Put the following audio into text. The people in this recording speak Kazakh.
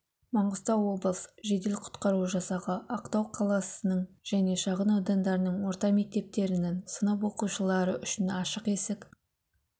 маңғыстау облысы жедел-құтқару жасағы ақтау қаласының және шағын аудандарының орта мектептерінін сынып оқушылары үшін ашық есік